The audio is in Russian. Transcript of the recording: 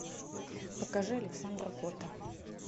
покажи александра котта